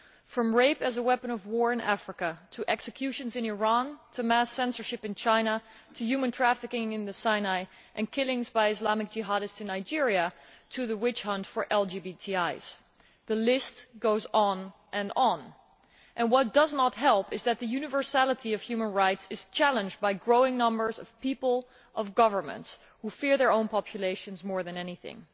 From rape as a weapon of war in Africa to executions in Iran, mass censorship in China, human trafficking in the Sinai and killings by Islamic jihadists in Nigeria, the witch hunt for LGBTIs the list goes on and on. What does not help is that the universality of human rights is being challenged by growing numbers of people and governments who fear their own populations more than anything.